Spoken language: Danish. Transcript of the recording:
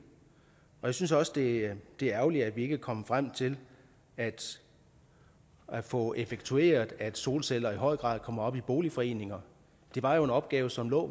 jeg synes også det er ærgerligt at vi ikke er kommet frem til at at få effektueret at solceller i høj grad kommer op i boligforeninger det var jo en opgave som lå